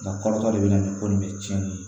Nka kɔrɔtɔ de bɛ na ni ko nin bɛ cɛnni ye